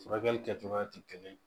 Furakɛli kɛcogoya tɛ kelen ye